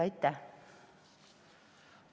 Aitäh!